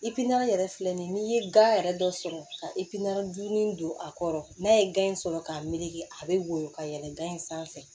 yɛrɛ filɛ nin ye n'i ye gan yɛrɛ dɔ sɔrɔ ka jurunin don a kɔrɔ n'a ye gan in sɔrɔ k'a meleke a bɛ woyo ka yɛlɛn gan in sanfɛ